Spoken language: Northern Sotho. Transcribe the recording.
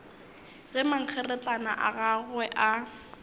ge mankgeretlana a gagwe a